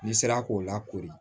N'i sera k'o lakori